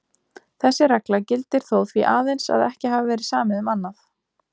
Þessi regla gildir þó því aðeins að ekki hafi verið samið um annað.